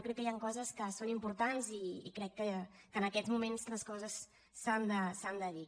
crec que hi han coses que són importants i crec que en aquests moments les coses s’han de dir